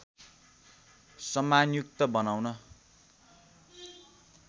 सम्मानयुक्त बनाउन